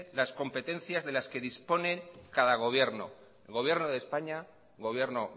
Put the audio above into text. las competencias de las que dispone cada gobierno gobierno de españa gobierno